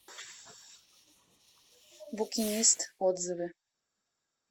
букинист отзывы